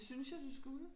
Det synes jeg du skulle